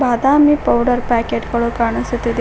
Badami powder packet ಗಳು ಕಾಣಿಸುತ್ತಿದೆ.